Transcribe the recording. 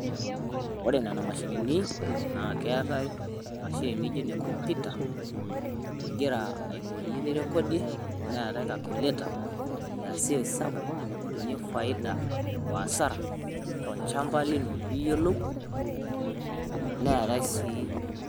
Ore nena mashinini naa keetai mashini nijoo ne kompyutaa ijira aiyoiree nirekodie, neeta kalikuletaa neesi hesabu nainy'oriye faidaa o hasaara tolchamba linoo piyiolou, neeta sii.